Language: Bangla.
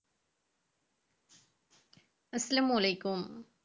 আস্সালামমুআলাইকুম।